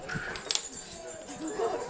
þú